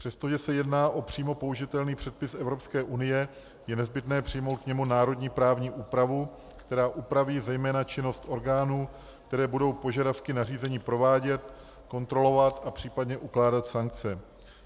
Přestože se jedná o přímo použitelný předpis Evropské unie, je nezbytné přijmout k němu národní právní úpravu, která upraví zejména činnost orgánů, které budou požadavky na řízení provádět, kontrolovat a případně ukládat sankce.